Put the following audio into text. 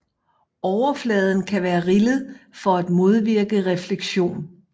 Overfladen kan være rillet for at modvirke refleksion